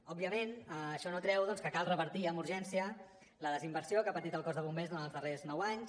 òbviament això no treu doncs que cal revertir amb urgència la desinversió que ha patit el cos de bombers durant els darrers nou anys